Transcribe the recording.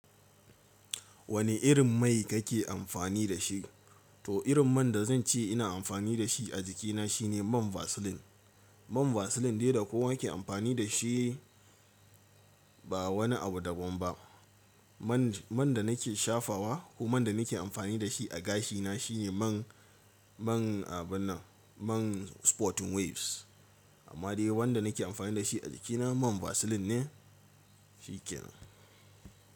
Wani irin mai kake amfani da shi? To irin man da zan ce ina amfani da shi a jikina shine man Vaseline. Man Vaseline dai da kowa ke amfani da shi ba wani abu daban ba. Man, man da nake shafawa ko man da nake amfani da shi a gashina shine man, man abin nan, man Sporting Waves. Amma dai wanda nake amfani da shi a jikina man Vaseline ne, shi kenan.